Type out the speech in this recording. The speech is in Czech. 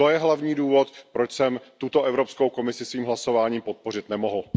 To je hlavní důvod, proč jsem tuto Evropskou komisi svým hlasováním podpořit nemohl.